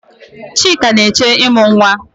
Chika na-eche ịmụ nwa.